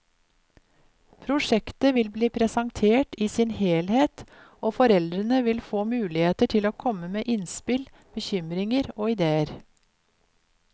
Prosjektet vil bli presentert i sin helhet, og foreldrene vil få muligheter til å komme med innspill, bekymringer og ideer.